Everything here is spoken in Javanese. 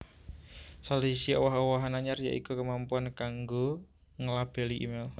Salah siji owah owahan anyar ya iku kemampuan kanggo nglabeli email